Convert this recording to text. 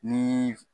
Ni